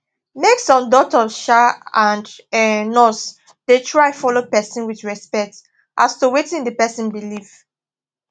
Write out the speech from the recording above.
make sum doctors um and um nurse da try follow person with respect as to wetin d person believe